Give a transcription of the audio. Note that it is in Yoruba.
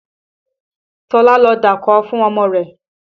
Tọ́lá lọ dákó fún ọmọ rẹ̀